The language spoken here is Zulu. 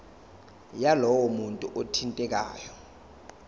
yalowo muntu othintekayo